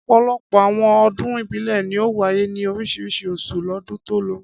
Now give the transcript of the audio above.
Ọ̀pọ̀lọpọ̀ àwọn ọdún ìbílẹ̀ ni ó wáyé ní oríṣiríṣi oṣù lọ́dún tó lọ.